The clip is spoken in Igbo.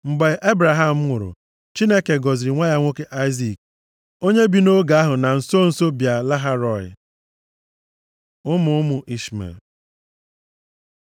Mgbe Ebraham nwụrụ, Chineke gọziri nwa ya nwoke Aịzik onye bi nʼoge ahụ na nso nso Bịa-Lahai-Rọị. Ụmụ ụmụ Ishmel